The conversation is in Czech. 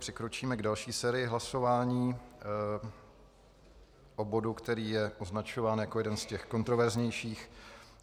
Přikročíme k další sérii hlasování o bodu, který je označován jako jeden z těch kontroverznějších.